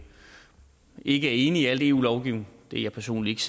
ikke er enig i al eu lovgivning det er jeg personligt